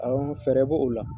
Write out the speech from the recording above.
Awɔ fɛɛrɛ b'o o la.